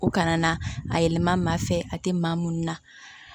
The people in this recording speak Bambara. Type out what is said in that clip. U kana na a yɛlɛma maa fɛ a tɛ maa minnu na